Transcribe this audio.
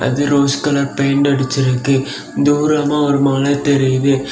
Rose colour paint அடிச்சிருக்கு. தூரமா ஒரு மலை தெரியுது.